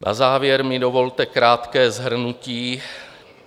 Na závěr mi dovolte krátké shrnutí.